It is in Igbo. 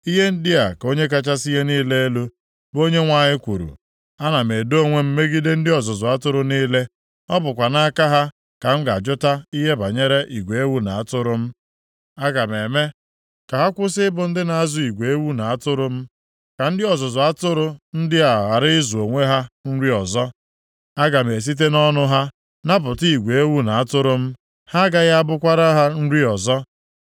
Ihe ndị a ka Onye kachasị ihe niile elu, bụ Onyenwe anyị kwuru, Ana m edo onwe m megide ndị ọzụzụ atụrụ niile. Ọ bụkwa nʼaka ha ka m ga-ajụta ihe banyere igwe ewu na atụrụ m. Aga m eme ka ha kwụsị ị bụ ndị na-azụ igwe ewu na atụrụ m, ka ndị ọzụzụ atụrụ ndị a ghara ịzụ onwe ha nri ọzọ. Aga m esite nʼọnụ ha napụta igwe ewu na atụrụ m, ha agaghị abụkwara ha nri ọzọ.